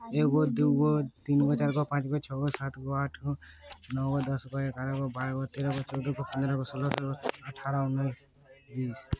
एगो दुगो तीनगो चारगो पाँचगो छगो सातगो आठगो नवगो दासगो ग्यारहगो बारहगो तेरहगो चौदहगो पन्द्रहगो सोलहगो अठारहगो उन्नीस बीस --